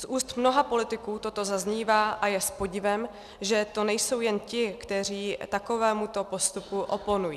Z úst mnoha politiků toto zaznívá a je s podivem, že to nejsou jen ti, kteří takovému postupu oponují.